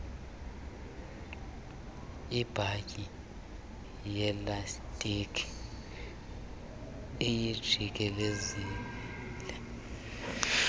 ibhanti yelastiki uyijikelezise